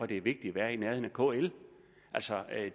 det er vigtigt at være i nærheden af kl altså